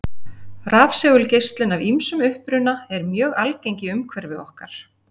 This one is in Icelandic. Rafsegulgeislun af ýmsum uppruna er mjög algeng í umhverfi okkar.